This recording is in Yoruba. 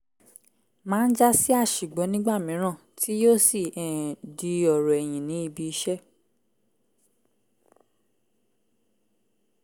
máa ń jásí àṣìgbọ́ nígbà mìíràn tí yóò sì um di ọ̀rọ̀ ẹ̀yìn ní ibi-iṣẹ́